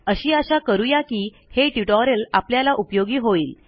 अशी आशा करू या की हे ट्युटोरियल आपल्याला उपयोगी होईल